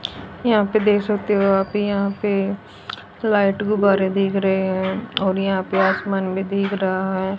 यहां पे देख सकते हो आप यहां पे लाइट गुब्बारे दिख रहे हैं और यहां पे आसमान भी दिख रहा है।